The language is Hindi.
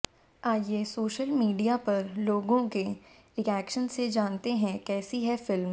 आइए सोशल मीडियो पर लोगों के रिएक्शन से जानते हैं कैसी है फिल्म